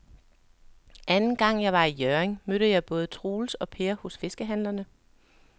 Anden gang jeg var i Hjørring, mødte jeg både Troels og Per hos fiskehandlerne.